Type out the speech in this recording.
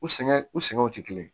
U sɛgɛn u sɛŋɛw te kelen ye